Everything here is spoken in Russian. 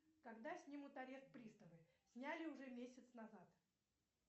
когда снимут арест приставы сняли уже месяц назад